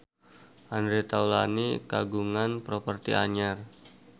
Andre Taulany kagungan properti anyar